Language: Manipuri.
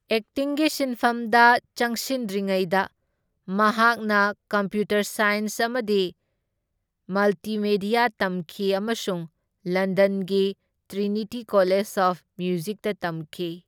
ꯑꯦꯛꯇꯤꯡꯒꯤ ꯁꯤꯟꯐꯝꯗ ꯆꯪꯁꯤꯟꯗ꯭ꯔꯤꯉꯩꯗ ꯃꯍꯥꯛꯅ ꯀꯝꯄ꯭ꯌꯨꯇꯔ ꯁꯥꯢꯟꯁ ꯑꯃꯗꯤ ꯃꯜꯇꯤꯃꯦꯗ꯭ꯌꯥ ꯇꯝꯈꯤ ꯑꯃꯁꯨꯨꯡ ꯂꯟꯗꯟꯒꯤ ꯇ꯭ꯔꯤꯅꯤꯇꯤ ꯀꯣꯂꯦꯖ ꯑꯣꯐ ꯃ꯭ꯌꯨꯖꯤꯛꯇ ꯇꯝꯈꯤ꯫